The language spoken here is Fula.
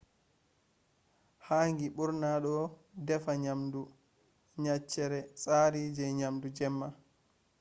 hangi ɓurna ɗo defa nyamdu nyaceere tsari je nyamdu jemma